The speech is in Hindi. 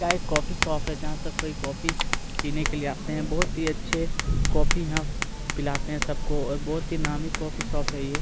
यह एक कॉफी शॉप है जहां सब कोई कॉफ़ी पीने के लिए आते हैं बहुत ही अच्छे कॉफी यहाँ पिलाते हैं सबको और बहुत ही नामी कॉफी शॉप है।